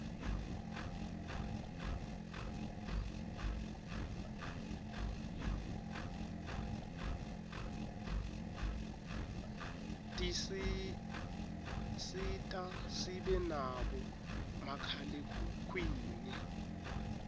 tisisita sibe nabo makhalekhukhwini